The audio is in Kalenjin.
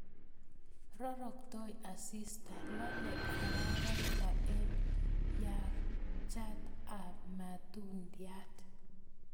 Roroktoi asista, lolei araraita eng yangchat ab matundiat